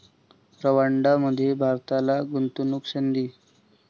रंवांडांमध्ये भारताला गुंतवणूकसंधी